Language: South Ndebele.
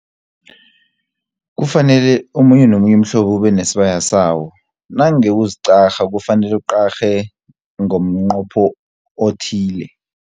Kufanele omunye nomunye umhlobo ube nesibaya sawo, nange uziqarha kufanele uqarhe ngomnqopho othile.